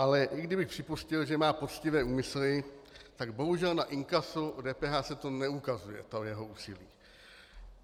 Ale i kdybych připustil, že má poctivé úmysly, tak bohužel na inkasu DPH se to neukazuje, to jeho úsilí.